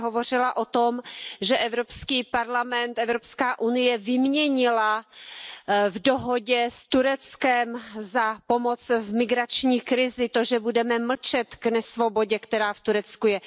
Vy jste hovořila o tom, že Evropský parlament, Evropská unie vyměnila v dohodě s Tureckem pomoc v migrační krizi za to, že budeme mlčet k nesvobodě, která v Turecku je.